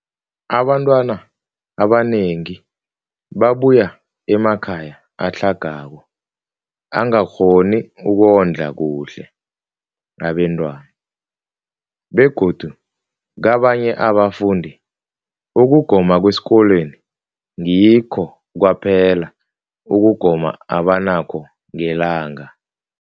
Abantwana abanengi babuya emakhaya atlhagako angakghoni ukondla kuhle abentwana, begodu kabanye abafundi, ukugoma kwesikolweni ngikho kwaphela ukugoma abanakho ngelanga.